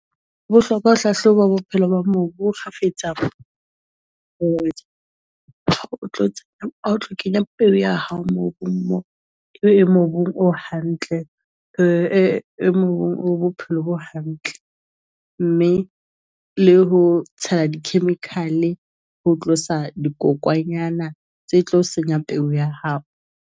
Bohlokwa ho hlahloba bophelo ba mobu bo kgafetsa. Kenya peo ya hao mobung mo e mobung o hantle, e mong o bophelo bo hantle. Mme le ho tshela di-chemical ho tlosa dikokwanyana tse tlo senya peo ya hao.